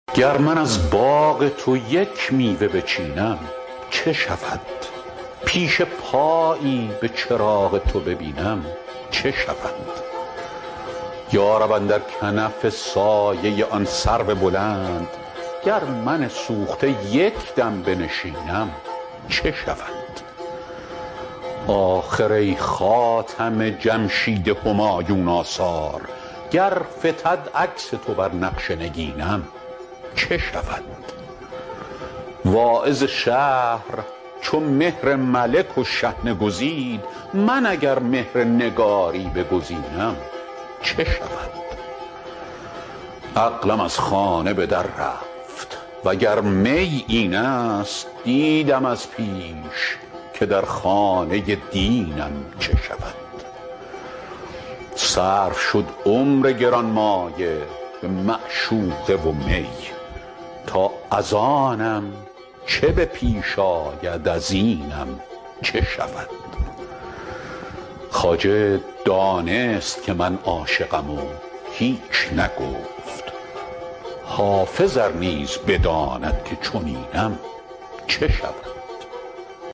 گر من از باغ تو یک میوه بچینم چه شود پیش پایی به چراغ تو ببینم چه شود یا رب اندر کنف سایه آن سرو بلند گر من سوخته یک دم بنشینم چه شود آخر ای خاتم جمشید همایون آثار گر فتد عکس تو بر نقش نگینم چه شود واعظ شهر چو مهر ملک و شحنه گزید من اگر مهر نگاری بگزینم چه شود عقلم از خانه به در رفت وگر می این است دیدم از پیش که در خانه دینم چه شود صرف شد عمر گرانمایه به معشوقه و می تا از آنم چه به پیش آید از اینم چه شود خواجه دانست که من عاشقم و هیچ نگفت حافظ ار نیز بداند که چنینم چه شود